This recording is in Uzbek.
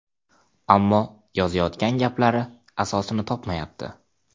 Ammo yozayotgan gaplari asosini topmayapti.